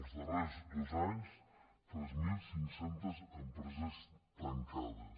els darrers dos anys tres mil cinc cents empreses tancades